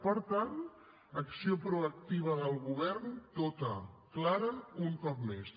per tant acció proactiva del govern tota clara un cop més